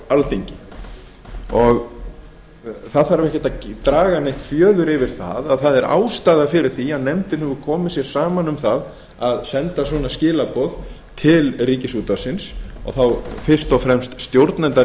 alþingi það þarf ekkert að draga fjöður yfir að það er ástæða fyrir því að nefndin hefur komið sér saman um að senda svona skilaboð til ríkisútvarpsins og þá fyrst og fremst stjórnenda